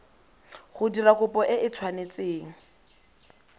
go dira kopo e tshwanetse